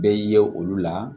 Bɛ ye olu la